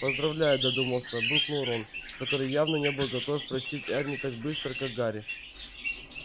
поздравляю додумался буркнул рон который явно не был готов простить эрни так быстро как гарри